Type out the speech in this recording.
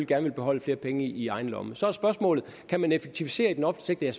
gerne vil beholde flere penge i egen lomme så er spørgsmålet kan man effektivisere den offentlige